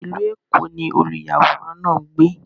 Ilú Ékó ni òlúyàwòràn náà ngbé.